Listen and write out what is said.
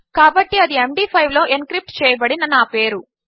కాబట్టిఅది ఎండీ5 లోఎన్క్రిప్ట్చేయబడిననాపేరు